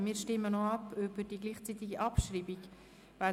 Wir stimmen über die gleichzeitige Abschreibung ab.